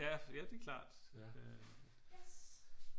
Ja ja det er klart øh